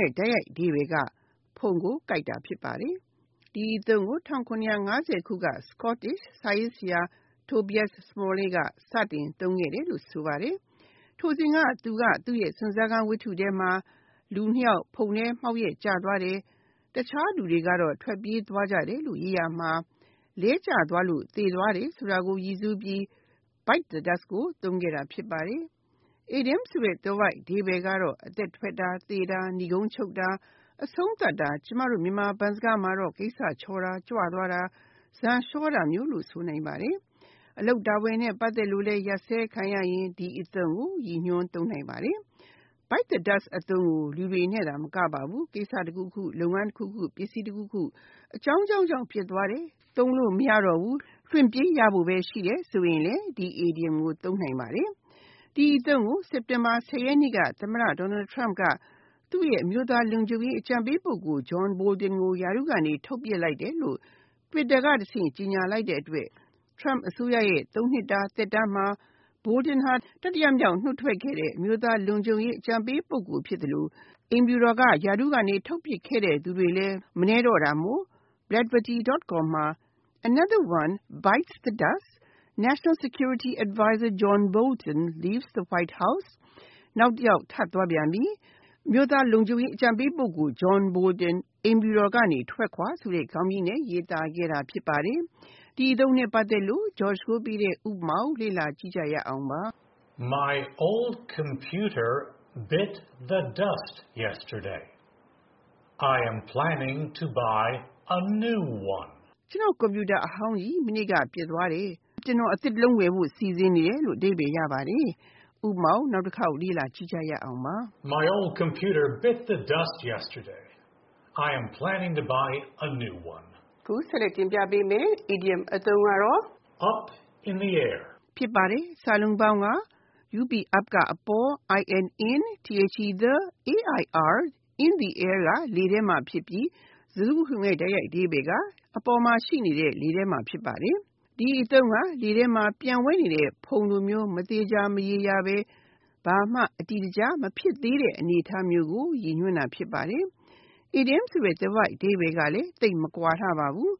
ရဲ့ တိုက်ရိုက်အဓိပ္ပါယ်က ဖုန်ကိုကိုက်တာ ဖြစ်ပါတယ်။ ဒီအသုံးကို ၁၇၅၀ က Scottish စာရေးဆရာ Tobias Smollett က စတင်သုံးခဲ့တယ်လို့ ဆိုပါတယ်။ ထိုစဉ်က သူ့ရဲ့ စွန့်စားခန်းဝထ္တုထဲမှာ လူနှစ်ယောက် ဖုန်ထဲမှောက်ရက်ကျတယ်၊ တခြားလူတွေက ထွက်ပြေးသွားတယ်လို့ ရေးရာမှာ လဲကျသွားလို့ သေသွားတယ်ဆိုတာကို ရည်ညွှန်ပြီး Bite the dust ကို သုံးခဲ့တာ ဖြစ်ပါတယ်။ အီဒီယံသွယ်ဝိုက်အဓိပ္ပါယ်ကတော့ အသက်ထွက်တာ၊ သေတာ၊ နိဂုံးချုပ်တာ၊ အဆုံးသတ်တာ၊ ကျမတို့ မြန်မာဘန်းစကားမှာတော့ ကိစ္စချောတာ၊ ကြွသွားတာ၊ ဈာန်လျှောတာမျိုးကို ဆိုလိုပါတယ်။ အလုပ်တာဝန်နဲ့ ပတ်သက်လို့လည်း ရပ်စဲခံရရင် ဒီအသုံးကိုရည်ညွှန် သုံးနိုင်ပါတယ်။ Bite the dust အသုံးကို လူတွေနဲ့သာမကပါဘူး ကိစ္စတခုခု၊ လုပ်ငန်းတခုခု၊ ပစ္စည်းတခုခု အကြောင်းကြောင်းကြောင့် ပျက်သွားတယ် သုံးလို့မရတော့ဘူး လွှင့်ပစ်ရဘို့ပဲ ရှိတယ်ဆိုရင်လဲ ဒီအီဒီယံကို သုံးနိုင်ပါတယ်။ ဒီအသုံးကို စက်တင်ဘာ (၁၀) ရက်နေ့က သမတ Donald Trump က သူ့ရဲ့အမျိုးသားလုံခြုံရေးအကြံပေးပုဂ္ဂိုလ် John Bolton ကို ရာထူးကနေ ထုတ်ပစ်လိုက်တယ်လို့ Twitter ကတဆင့် ကြေငြာလိုက်တဲ့အတွက်၊ Trump အစိုးရ ရဲ့ သုံးနှစ်တာသက်တမ်းမှာ Bolton ဟာ တတိယမြောက် နှုတ်ထွက်ခဲ့တဲ့ အမျိုးသားလုံခြုံရေးအကြံပေးပုဂ္ဂိုလ် ဖြစ်သလို အိမ်ဖြူတော်ကနေ ရာထူးထုတ်ပစ်ခဲ့သူတွေလည်း မနည်းတော့တာမို့ Blavity.com မှာ “Another One Bites The Dust: National Security Advisor John Bolton Leaves The White House “ နောက်တယောက် ထပ်သွားပြန်ပြီ၊ အမျိုးသားလုံခြုံရေးအကြံပေးပုဂ္ဂိုလ် John Bolton အိမ်ဖြူတော်က ထွက်ခွါဆိုတဲ့ ခေါင်းကြီးနဲ့ရေးသားခဲ့တာဖြစ်ပါတယ်။ ဥပမာ My old computer “bit the dust” yesterday. I am planning to buy a new one. ကျနော့် ကွန်ပြူတာအဟောင်းကြီး မနေ့က လုံးဝပျက်သွားတယ်။ ကျနော် အသစ်တလုံး ဝယ်ဖို့စီစဉ်နေတယ် ။ (၂)Up in the Air Up (အပေါ်) in the air (လေထဲမှာ) ဖြစ်ပြီး၊ စကားစုတခုလုံးရဲ့ တိုက်ရိုက်အဓိပ္ပါယ်က အပေါ်လေထဲမှာ ဖြစ်ပါတယ်။ ဒီအသုံးက လေထဲမှာပျံဝဲနေတဲ့ ဖုန်လိုမျိုး မသေချာမရေရာဘဲ၊ ဘာမှ အတည်တကျ မဖြစ်သေးတဲ့ အနေအထားမျိုးကို ရည်ညွန်းတာ ဖြစ်ပါတယ်။ အီဒီယံဆိုတဲ့သွယ်ဝိုက်အဓိပ္ပါယ်ကလဲ သိပ်မကွာလှပါဘူး